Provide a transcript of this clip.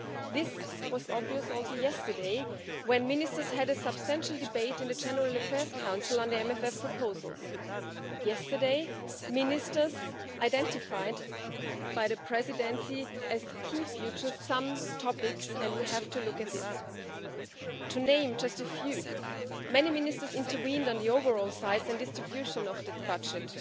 This was obvious also yesterday when ministers had a substantial debate in the General Affairs Council on the MFF proposals. Yesterday, ministers identified by the Presidency some topics as key future ones and we have to look at this. To name just a few many ministers intervened on the overall size and distribution of the budget